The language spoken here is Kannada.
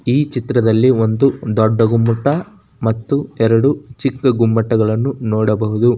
ಈ ಚಿಟದಲ್ಲಿ ಒಂದು ದೊಡ್ಡ ಗುಮ್ಮಟ ಮತ್ತು ಎರಡು ಚಿಕ್ಕ ಗುಮಟವನ್ನು ನೋಡಬಹುದು.